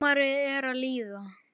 Sumarið er að líða.